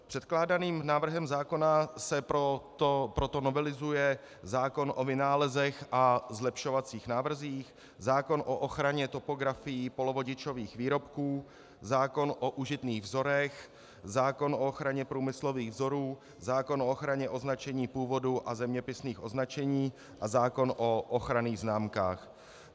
Předkládaným návrhem zákona se proto novelizuje zákon o vynálezech a zlepšovacích návrzích, zákon o ochraně topografií polovodičových výrobků, zákon o užitných vzorech, zákon o ochraně průmyslových vzorů, zákon o ochraně označení původu a zeměpisných označení a zákon o ochranných známkách.